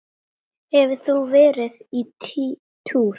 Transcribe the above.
Hefur þú verið á túr?